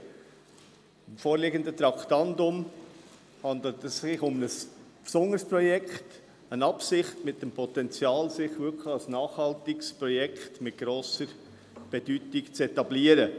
Beim vorliegenden Traktandum handelt es sich um ein besonderes Projekt, eine Absicht, mit dem Potenzial, sich als nachhaltiges Projekt von grosser Bedeutung zu etablieren.